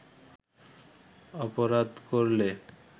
অপরাধ করলে